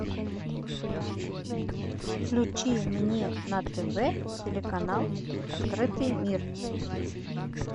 включи мне на тв телеканал открытый мир